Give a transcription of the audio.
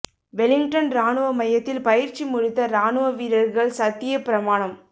Wellington ராணுவ மையத்தில் பயிற்சி முடித்த ராணுவ வீரா்கள் சத்தியப் பிரமாணம்